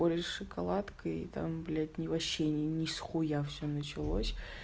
олеи шоколадкой и там блять ни не вообще не с хуя всё началось